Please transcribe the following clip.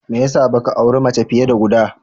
Me ya sa ba ka auren mace fiye da guda?